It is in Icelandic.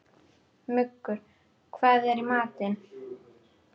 Muggur, hvað er í matinn?